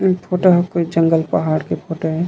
ए photo ह कोई जंगल पहाड़ के फोटो ए ।